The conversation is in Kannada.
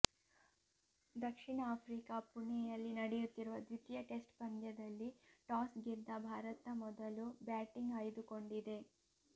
ದಕ್ಷಿಣ ಆಫ್ರಿಕಾ ಪುಣೆಯಲ್ಲಿ ನಡೆಯುತ್ತಿರುವ ದ್ವಿತೀಯ ಟೆಸ್ಟ್ ಪಂದ್ಯದಲ್ಲಿ ಟಾಸ್ ಗೆದ್ದ ಭಾರತ ಮೊದಲು ಬ್ಯಾಟಿಂಗ್ ಆಯ್ದುಕೊಂಡಿದೆ